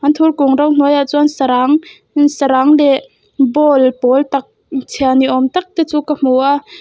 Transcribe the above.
anthur kung ro hnuai ah chuan sarang sarang leh bowl pawl tak chhia ni awm tak te chu ka hmu a.